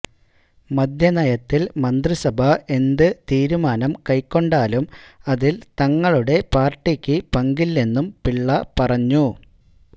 മദ്യനയത്തില് മന്ത്രസഭ എന്ത് തീരുമാനം കൈക്കൊണ്ടാലും അതില് തങ്ങളുടെ പാര്ട്ടിക്ക് പങ്കില്ലെന്നും പിള്ള പറഞ്ഞു